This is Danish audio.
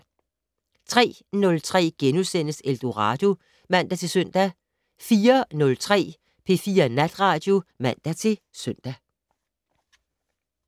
03:03: Eldorado *(man-søn) 04:03: P4 Natradio (man-søn)